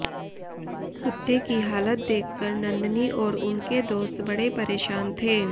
कुत्ते की हालत देखकर नन्दनी और उनके दोस्त बड़े परेशान थे